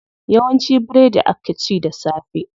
Yawanci biredi akw ci da safe.